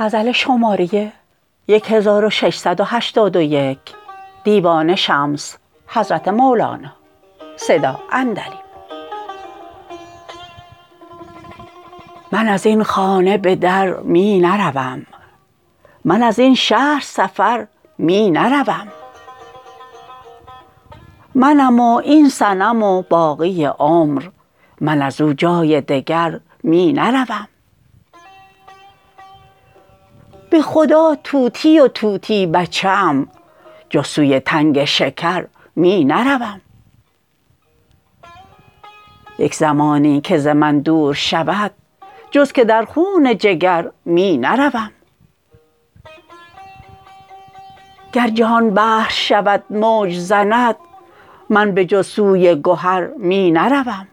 من از این خانه به در می نروم من از این شهر سفر می نروم منم و این صنم و باقی عمر من از او جای دگر می نروم به خدا طوطی و طوطی بچه ام جز سوی تنگ شکر می نروم یک زمانی که ز من دور شود جز که در خون جگر می نروم گر جهان بحر شود موج زند من به جز سوی گهر می نروم